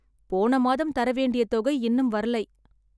போன மாதம் தர வேண்டிய தொகை இன்னும் வரலை